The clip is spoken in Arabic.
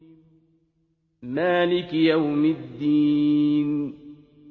مَالِكِ يَوْمِ الدِّينِ